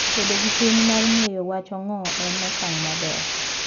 Bedo gi chuny mar ng'eyo wach ong'o en okang ' maber.